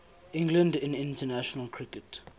england in international cricket